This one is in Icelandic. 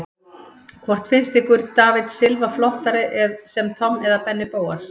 Hvort finnst ykkur David Silva flottari sem Tom eða Benni Bóas?